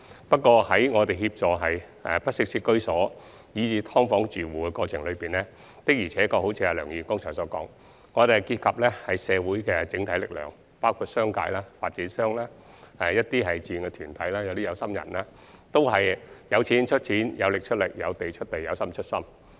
不過，在協助居於不適切居所以至"劏房"的住戶的過程中，的確有如梁議員剛才所說，需要結合社會的整體力量，包括商界、發展商、一些志願團體及有心人，他們均"有錢出錢，有力出力，有地出地，有心出心"。